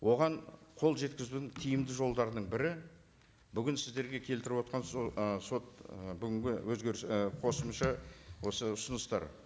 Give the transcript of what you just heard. оған қол жеткізудің тиімді жолдарының бірі бүгін сіздерге келтіріватқан ы сот бүгінгі өзгеріс і қосымша осы ұсыныстар